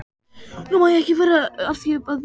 Nú má ég ekki vera að því að bíða lengur.